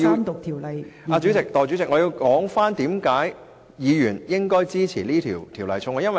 代理主席，我要說出為何議員應支持這項《條例草案》。